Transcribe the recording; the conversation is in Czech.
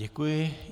Děkuji.